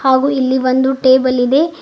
ಹಾಗು ಇಲ್ಲಿ ಒಂದು ಟೇಬಲ್ ಇದೆ.